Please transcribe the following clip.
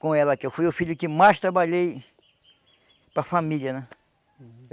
com ela, que eu fui o filho que mais trabalhei para família, né?